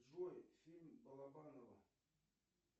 джой фильм балабанова